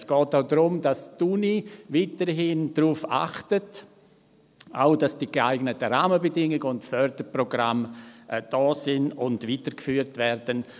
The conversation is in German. Es geht auch darum, dass die Uni weiterhin darauf achtet, dass auch die geeigneten Rahmenbedingungen und Förderprogramme da sind und weitergeführt werden.